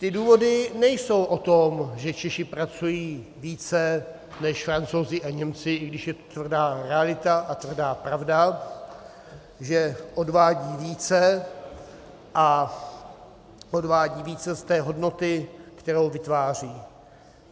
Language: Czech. Ty důvody nejsou o tom, že Češi pracují více než Francouzi a Němci, i když je to tvrdá realita a tvrdá pravda, že odvádí více a odvádí více z té hodnoty, kterou vytváří.